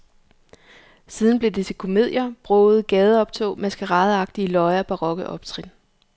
Siden blev det til komedier, brogede gadeoptog, maskeradeagtige løjer, barokke optrin.